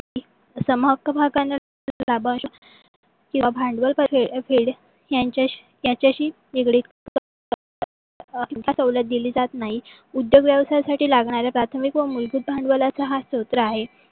सम हक्क भागाना लाभांश किवा भांडवल फेड यांच्याशी निगडीत सवलत दिली जात नाही. उद्योग व्यवसाय साठी लागणाऱ्या प्राथमिक व मूलभूत भांडवलाचा हा सत्र आहे.